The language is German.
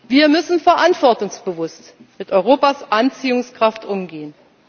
haben. Wir müssen verantwortungsbewusst mit Europas Anziehungskraft umgehen.